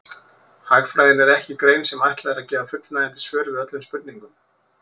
Hagfræðin er ekki grein sem ætlað er að gefa fullnægjandi svör við öllum spurningum.